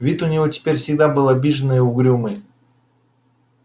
вид у него теперь всегда был обиженный и угрюмый